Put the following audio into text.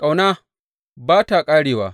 Ƙauna ba ta ƙarewa.